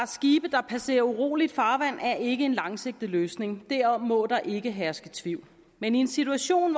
skibe der passerer uroligt farvand er ikke en langsigtet løsning derom må der ikke herske tvivl men i en situation